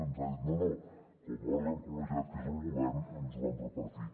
ens ha dit no no com a òrgan col·legiat que és el govern ens ho vam repartir